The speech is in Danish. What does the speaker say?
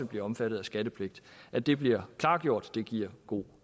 bliver omfattet af skattepligt at det bliver klargjort giver god